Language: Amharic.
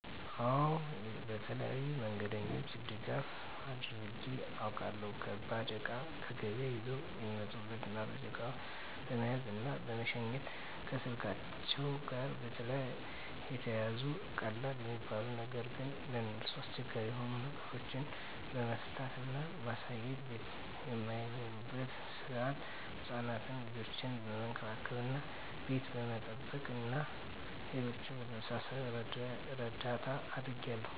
አወ በተለያዩ መንገደኞች ድጋፍ አድርጌ አውቃለሁ። ከባድ እቃ ከገበያ ይዘው ለሚመጡ እናቶች እቃዎችን በመያዝ እና በመሸኘት፣ ከስልካቸዉ ጋር የተያያዙ ቀላል የሚባሉ ነገር ግን ለነርሱ አስቸጋሪ የሆኑ ነገሮችን መፍታት እና ማሳየት፣ ቤት በማይኖሩበት ሰአት ህፃናትን ልጆቻቸውን መንከባከብ እና ቤት በመጠበቅ እና ሌሎችም በመሳሰሉት እርዳታ አድርጌያለሁ።